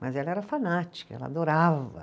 Mas ela era fanática, ela adorava.